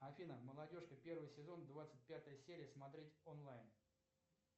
афина молодежка первый сезон двадцать пятая серия смотреть онлайн